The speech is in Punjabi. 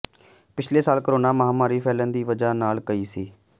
ਪਿਛਲੇ ਸਾਲ ਕੋਰੋਨਾ ਮਹਾਮਾਰੀ ਫੈਲਣ ਦੀ ਵਜ੍ਹਾ ਨਾਲ ਕਈ ਸੀ